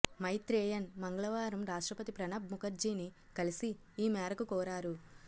మైత్రేయన్ మంగళవారం రాష్టప్రతి ప్రణబ్ ముఖర్జీని కలిసి ఈ మేరకు కోరారు